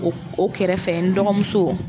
O o kɛrɛfɛ n dɔgɔmuso